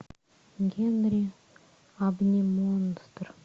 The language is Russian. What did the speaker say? генри обнимонстр